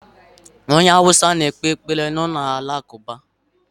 Onye Hausa na-ekpe ekpere n'ụlọ Alakụba ha.